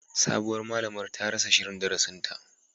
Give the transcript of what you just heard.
Sabuwar malamar ta rasa shirin darasinta